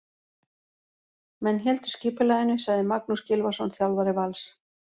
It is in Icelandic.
Menn héldu skipulaginu, sagði Magnús Gylfason, þjálfari Vals.